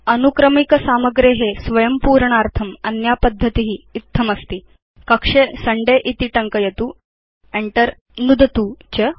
अनुक्रमिक सामग्रे स्वयं पूरणार्थं अन्या पद्धति इत्थमस्ति कक्षे सुन्दय इति टङ्कयतु Enter नुदतु च